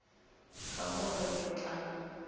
ka go re re tla